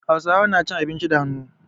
Hausawa na cin abinci da hannu.